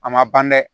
A ma ban dɛ